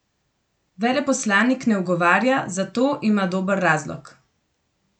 Veleposlanik ne ugovarja, za to ima dober razlog.